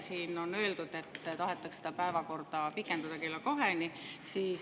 Siin on öeldud, et tahetakse pikendada kella kaheni.